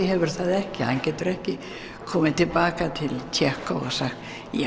hefur það ekki hann getur ekki komið til baka til Tékkó og sagt